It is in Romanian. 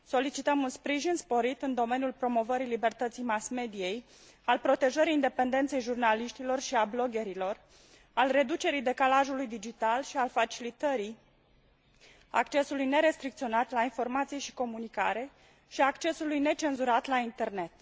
Solicităm un sprijin sporit în domeniul promovării libertății mass mediei, al protejării independenței jurnaliștilor și a bloggerilor, al reducerii decalajului digital și al facilitării accesului nerestricționat la informație și comunicare și a accesului necenzurat la Internet.